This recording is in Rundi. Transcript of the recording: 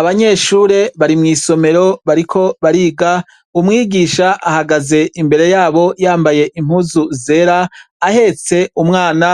Abanyeshure bari mw'isomero bariko bariga umwigisha ahagaze imbere yabo yambaye impuzu zera ahetse umwana